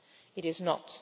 of place. It